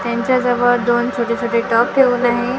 यांच्या जवळ दोन छोटे-छोटे डॉग ठेवून आहे.